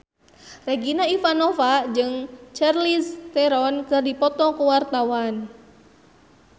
Regina Ivanova jeung Charlize Theron keur dipoto ku wartawan